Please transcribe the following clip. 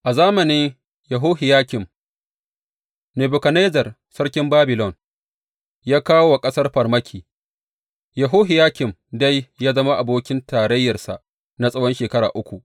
A zamani Yehohiyakim, Nebukadnezzar sarkin Babilon ya kawo wa ƙasar farmaki, Yehohiyakim dai ya zama abokin tarayyarsa na tsawon shekara uku.